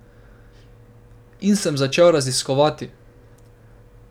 In sem začel raziskovati.